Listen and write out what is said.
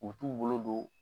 U k'u bolo don